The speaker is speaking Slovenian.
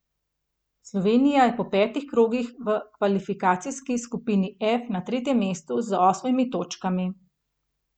Slovenija je po petih krogih v kvalifikacijski skupini F na tretjem mestu z osmimi točkami.